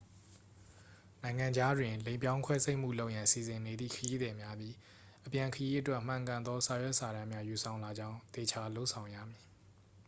နိုင်ငံခြားတွင် လိင်ပြောင်း ခွဲစိတ်မှု လုပ်ရန် စီစဉ်နေသည့် ခရီးသည်များသည် အပြန်ခရီးအတွက် မှန်ကန်သော စာရွက်စာတမ်းများ ယူဆောင်လာကြောင်း သေချာလုပ်ဆောင်ရမည်